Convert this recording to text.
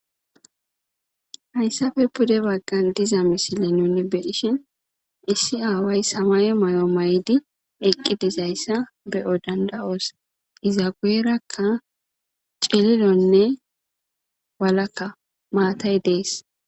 Haysappe pude bagan de'iza misile nun be'ishn issi aaway samaye mayo mayid eqi dizaysa be'os danda'os Iza guyeraka cililonne walaka matayi desi.